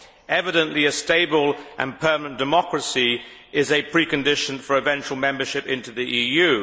Evidently, a stable and permanent democracy is a precondition for eventual membership of the EU.